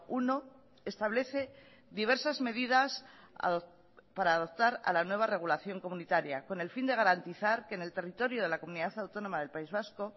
uno establece diversas medidas para adoptar a la nueva regulación comunitaria con el fin de garantizar que en el territorio de la comunidad autónoma del país vasco